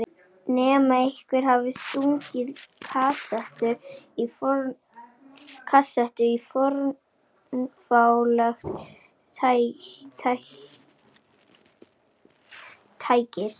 Nema einhver hafi stungið kasettu í fornfálegt tækið.